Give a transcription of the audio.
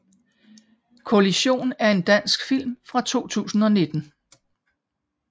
Kollision er en dansk film fra 2019